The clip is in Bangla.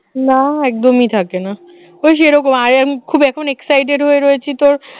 না একদমই থাকে না ওই সেরকম I am খুব এখন exited হয়ে রয়েছি তোর